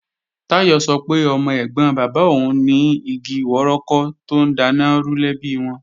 Táyọ̀ sọ pé ọmọ ẹ̀gbọ́n bàbá òun ni igi wọ́rọ́kọ́ tó ń daná rú lẹ́bi wọn